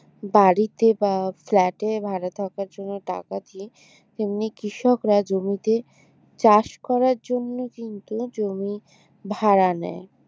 বাড়িতে বা flat এ ভাড়া থাকার জন্য টাকা দি তেমনি কৃষকরা জমিতে চাষ করার জন্য কিন্তু জমি ভাড়া নেয়